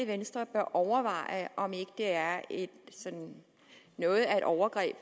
venstre bør overveje om ikke det er noget af et overgreb